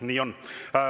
Nii on.